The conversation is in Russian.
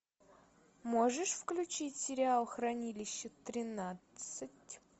можешь включить сериал хранилище тринадцать